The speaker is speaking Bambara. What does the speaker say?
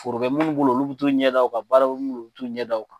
Foro kɛ minnu bolo olu bɛ taa o ɲɛ da o kan baaraw bɛ minnu bolo olu bɛ taa o ɲɛ da o kan.